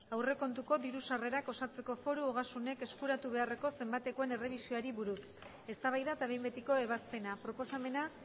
aurrekontuko diru sarrerak osatzeko foru ogasunek eskuratu beharreko zenbatekoen errebisioari buruz eztabaida eta behin betiko ebazpena proposamena